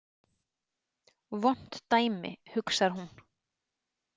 Vont dæmi, hugsar hún.